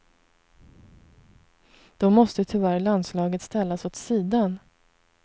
Då måste tyvärr landslaget ställas åt sidan.